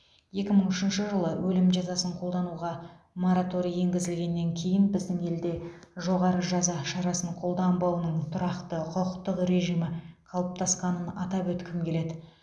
екі мың үшінші жылы өлім жазасын қолдануға мораторий енгізілгеннен кейін біздің елде жоғары жаза шарасын қолданбауының тұрақты құқықтық режимі қалыптасқанын атап өткім келеді